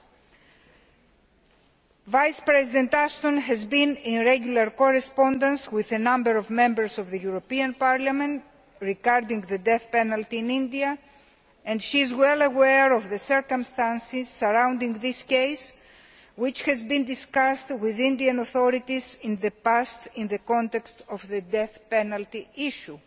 Vice President High Representative Ashton has been in regular correspondence with a number of Members of the European Parliament regarding the death penalty in India, and she is well aware of the circumstances surrounding this case, which has been discussed with the Indian authorities in the past in the context of the death penalty issue.